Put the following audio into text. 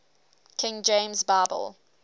king james bible